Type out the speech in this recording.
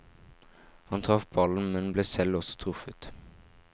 Han traff ballen, men ble selv også truffet.